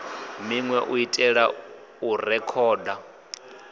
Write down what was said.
minwe u itela u rekhoda